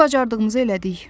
Biz bacardığımızı elədik.